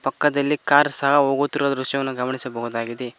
ಪಕ್ಕದಲ್ಲಿ ಕಾರ್ ಸಹ ಹೋಗುತ್ತಿರುವ ದೃಶ್ಯವನ್ನು ಗಮನಿಸಬಹುದಾಗಿದೆ.